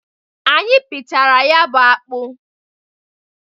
Anyị pịchara ya bụ akpụ.